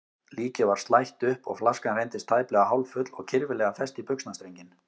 Líkið var slætt upp og flaskan reyndist tæplega hálffull og kirfilega fest í buxnastrenginn.